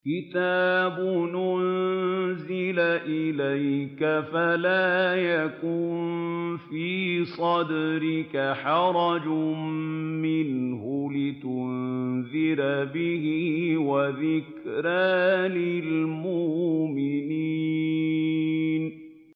كِتَابٌ أُنزِلَ إِلَيْكَ فَلَا يَكُن فِي صَدْرِكَ حَرَجٌ مِّنْهُ لِتُنذِرَ بِهِ وَذِكْرَىٰ لِلْمُؤْمِنِينَ